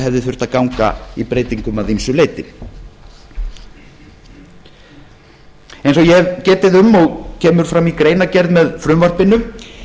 hefði þurft að ganga í breytingum að ýmsu leyti eins og ég hef getið um og kemur fram í greinargerð með frumvarpinu